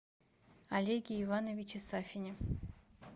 олеге ивановиче сафине